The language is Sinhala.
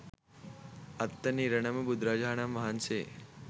අත්වන ඉරණම බුදුරජාණන් වහන්සේ